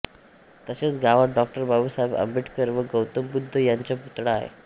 तसेच गावात डॉ बाबासाहेब आंबेडकर व गौतम बौध्द यांचा पुतळा आहे